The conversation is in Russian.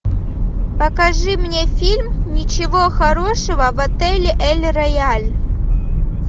покажи мне фильм ничего хорошего в отеле эль рояль